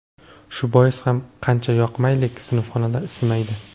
Shu bois ham qancha yoqmaylik, sinfxonalar isimaydi”.